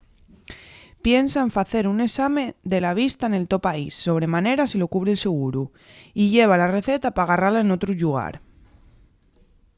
piensa en facer un esame de la vista nel to país sobre manera si lo cubre’l seguru y lleva la receta pa garrala n'otru llugar